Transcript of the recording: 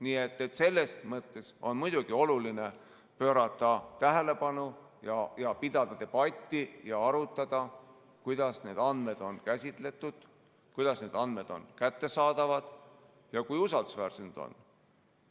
Nii et selles mõttes on muidugi oluline pöörata tähelepanu ja pidada debatti ja arutada, kuidas need andmed on käsitletud, kuidas need andmed on kättesaadavad ja kui usaldusväärsed need on.